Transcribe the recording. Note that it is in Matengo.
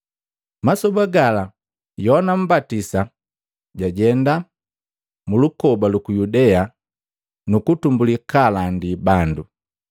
Masoba gala Yohana Mmbatisa jajenda, mulukoba luku Yudea, nukutumbuli kaalandi bandu.